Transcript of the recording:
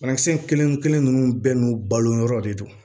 Banakisɛ in kelen kelen ninnu bɛɛ n'u balo yɔrɔ de don